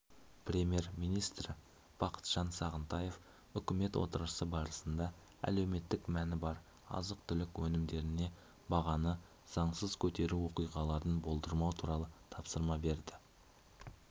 премьер-министрі бақытжан сағынтаев үкімет отырысы барысында әлеуметтік мәні бар азық-түлік өнімдеріне бағаны заңсыз көтеру оқиғаларын болдырмау туралы тапсырма берді